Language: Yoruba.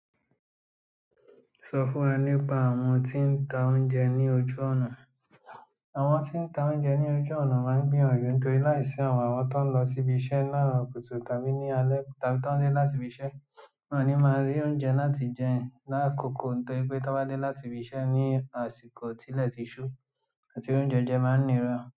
Sọ fún wa nípa àwọn tí ń ta oúnjẹ ní ojú ọ̀nà. Àwọn tí ń ta oúnjẹ ní ojú ọ̀nà máa ń gbìyànjú nítorí láìsí àwọn àwọn tó ń lọ síbi iṣẹ́ laaro kùtù tàbí ní alẹ́ tàbí tó ń dé láti ibi iṣẹ́. Wọn ni máa rí oúnjẹ láti jẹ lákòóko nítorí pé tọ́n bá dé láti ibi iṣẹ́ ní àsìkò tí ilẹ̀ ti ṣú àti ri oúnjẹ jẹ máa ń nira.